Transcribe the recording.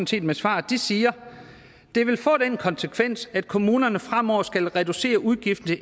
set med svaret de siger det vil få den konsekvens at kommunerne fremover skal reducere udgifterne